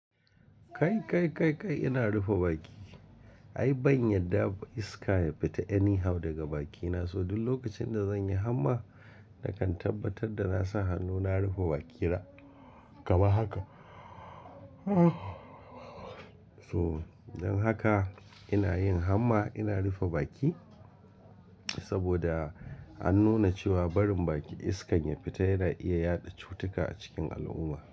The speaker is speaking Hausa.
Kai, kai, kai, kai ina rufe baki. Ai ban yarda iska ya fita anyhow daga bakina, so duk lokacin da zan yi hamma, na kan tabbatar da na sa hannuna rufe bakina kaman haka. So don haka ina yin hamma ina rufe baki saboda an nuna cewa barin baki iskan ya fita yana iya yaɗa cutuka a cikin al'umma.